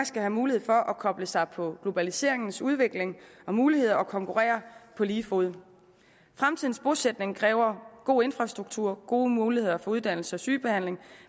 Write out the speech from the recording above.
skal have mulighed for at koble sig på globaliseringens udvikling og mulighed for at konkurrere på lige fod fremtidens bosætning kræver god infrastruktur gode muligheder for uddannelse og sygebehandling